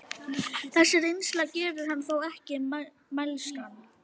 Þessi reynsla gerir hann þó ekki mælskan.